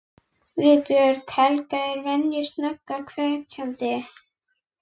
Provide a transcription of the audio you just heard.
Viðbrögð Helga eru að venju snögg og hvetjandi.